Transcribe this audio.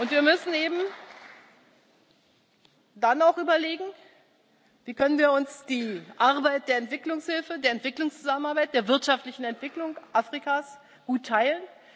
Wir müssen dann auch überlegen Wie können wir uns die Arbeit der Entwicklungshilfe, der Entwicklungszusammenarbeit, der wirtschaftlichen Entwicklung Afrikas gut teilen?